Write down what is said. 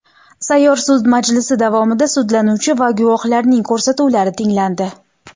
Sayyor sud majlisi davomida sudlanuvchi va guvohlarning ko‘rsatuvlari tinglandi.